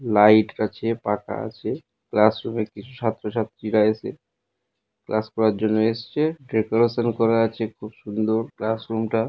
Light আছে পাখা আছে ক্লাস রুম - এ কিছু ছাত্র ছাত্রীরা এসে ক্লাস করার জন্য এসেছে। ডেকোরেশন করা আছে খুব সুন্দর ক্লাস রুম -টা ।